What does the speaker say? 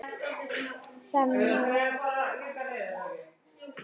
Þannig var það alltaf.